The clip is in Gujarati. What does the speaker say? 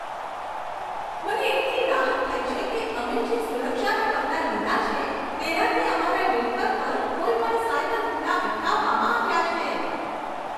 મને એટલી રાહત થઈ છે કે અમે જે સુરક્ષાના પગલાં લીધાં છે, તેનાથી અમારા નેટવર્ક પર કોઈપણ સાયબર હુમલા અટકાવવામાં આવ્યા છે.